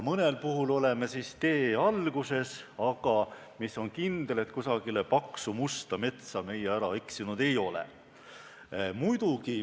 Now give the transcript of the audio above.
Mõnel puhul oleme tee alguses, aga mis on kindel: kusagile paksu musta metsa me ära eksinud ei ole.